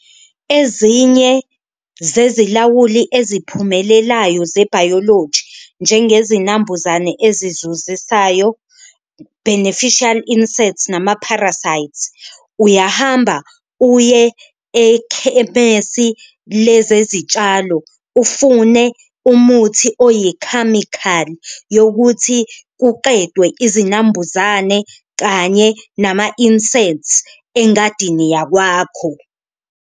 Ezinye zezilawuli eziphumelelayo zebhayoloji njengezinambuzane ezizuzisayo, beneficiary inserts nama-prasites, uyahamba uye ekhemesi lezezitshalo ufune umuthi oyikhamikhali yokuthi kuqedwe izinambuzane kanye nama-inserts engadini yakwakho.